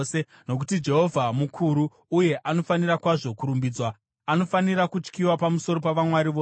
Nokuti Jehovha mukuru uye anofanira kwazvo kurumbidzwa; anofanira kutyiwa pamusoro pavamwari vose.